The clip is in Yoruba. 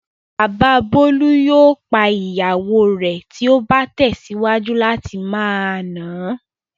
Bàbá Bólú yóò pa ìyàwó rẹ̀ tí ó bá tẹ̀síwájú láti máa nà á.